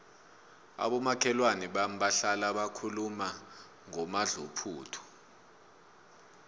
abomakhelwana bami bahlala bakhuluma ngomadluphuthu